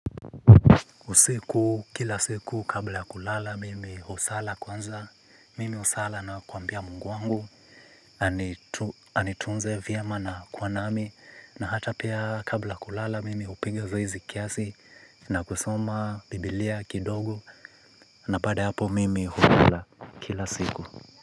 Usiku, kila siku, kabla ya kulala, mimi husala kwanza, mimi husala na kuambia Mungu wangu anitu anitunze vyema na kuwa nami, na hata pia kabla ya kulala, mimi hupiga zoezi kiasi, na kusoma biblia kidogo, na baada hapo mimi hukula kila siku.